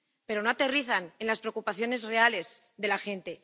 Pero no aterrizan en las preocupaciones reales de la gente.